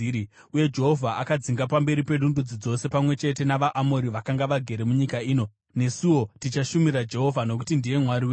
Uye Jehovha akadzinga pamberi pedu ndudzi dzose pamwe chete navaAmori vakanga vagere munyika ino. Nesuwo tichashumira Jehovha, nokuti ndiye Mwari wedu.”